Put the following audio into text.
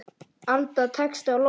Alda tekst á loft.